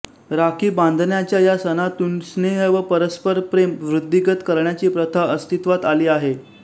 राखी बांधण्याच्या या सणातून स्नेह व परस्परप्रेम वृद्धिंगत करण्याची प्रथा अस्तित्वात आली आहे